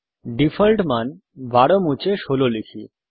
default মান ১২ মুছে ১৬ লিখি